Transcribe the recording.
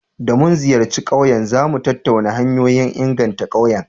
Da mun ziyarci ƙauyen, za mu tattauna hanyoyin inganta ƙauyen.